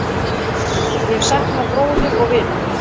Ég sakna bróður og vinar.